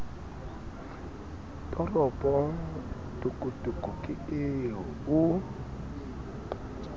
toropo tokotoko ke eo o